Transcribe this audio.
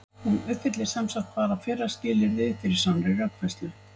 hún uppfyllir sem sagt bara fyrra skilyrðið fyrir sannri rökfærslu